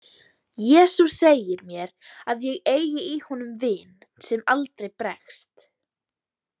Jesús segir mér að ég eigi í honum vin sem aldrei bregst.